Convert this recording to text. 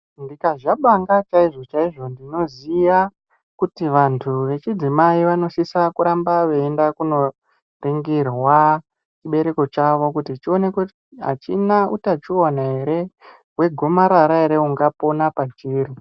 Ndikazwa Banga chaizvo chaizvo ndinoziva kuti vantu vechidzimai vanosisa kuramba veienda Kundoningirwa chibereko chawj chionekwe kuti achina utachiona ere wegomarara ungapona pachiri.